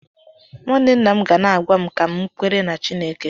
nwanne nna m ga na-agwa m ka m kwere na Chineke.